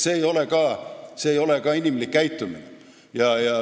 See ei ole inimlik käitumine.